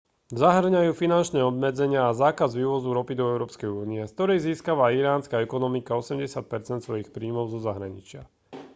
zahŕňajú finančné obmedzenia a zákaz vývozu ropy do európskej únie z ktorej získava iránska ekonomika 80 % svojich príjmov zo zahraničia